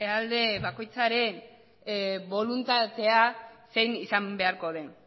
alde bakoitzaren boluntatea zein izango beharko den